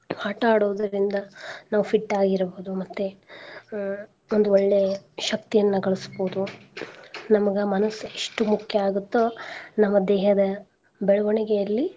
ಆಟಾ ಆಡೋದರಿಂದ ನಾವ್ fit ಆಗಿ ಇರ್ಬೋದು ಮತ್ತೆ ಅಹ್ ಒಂದ್ ಒಳ್ಳೆ ಶಕ್ತಿಯನ್ನ ಗಳ್ಸ್ಬೋದು ನಮಗ ಮನ್ಸ ಎಸ್ಟ್ ಮುಖ್ಯಾ ಆಗುತ್ತೊ ನಮ್ಮ ದೇಹದ ಬೆಳ್ವಣಿಗೆಯಲ್ಲಿ.